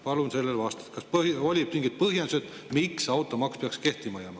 Palun sellele vastust, kas olid mingid põhjendused, miks automaks peaks kehtima jääma.